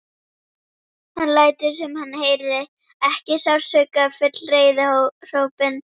Hann lætur sem hann heyri ekki sársaukafull reiðihrópin.